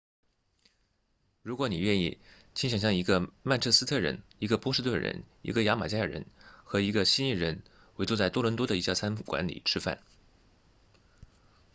如果你愿意请想象一个曼彻斯特人一个波士顿人一个牙买加人和一个悉尼人围坐在多伦多的一家餐馆里吃饭